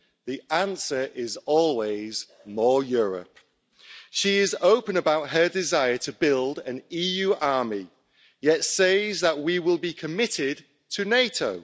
the answer is always more Europe'. She is open about her desire to build an EU army yet says that we will be committed to NATO.